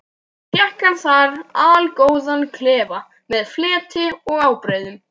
Fékk hann þar allgóðan klefa með fleti og ábreiðum.